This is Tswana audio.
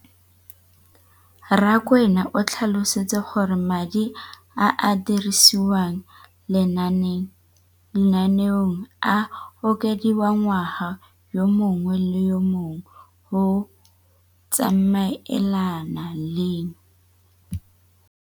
Rakwena o tlhalositse gore madi a a dirisediwang lenaane leno a okediwa ngwaga yo mongwe le yo mongwe go tsamaelana le